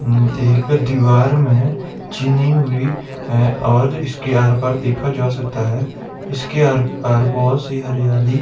एक दीवार में चीनी हुई है और इसके आर पार देखा जा सकता है इसके आर पार बहुत सी हरियाली--